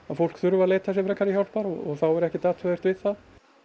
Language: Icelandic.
fólk þurfi að leita sér hjálpar og þá er ekkert athugavert við það